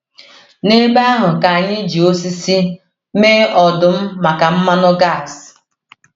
N’ebe ahụ ka anyị ji osisi mee ọdụ̀m maka mmanụ gas.